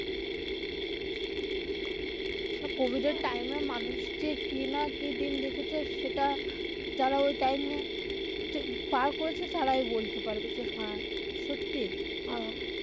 Covid এর time এ মানুষ যে কি না কি দিন দেখেছে সেটা যারা ওই time এ পার করেছে তারাই বলতে পারবে যে হ্যা সত্যি.